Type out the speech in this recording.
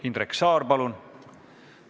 Indrek Saar, palun!